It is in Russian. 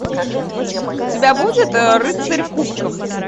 у тебя будет рыцарь кубков